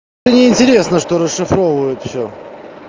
мне интересно что расшифровывают всё